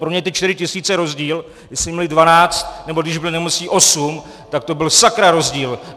Pro ně ty čtyři tisíce rozdíl, jestli měli dvanáct, nebo když byli nemocní osm, tak to byl sakra rozdíl.